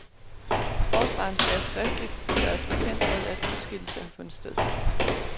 Forsvareren skal skriftligt gøres bekendt med, at udskillelse har fundet sted.